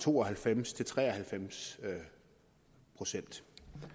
to og halvfems til tre og halvfems procent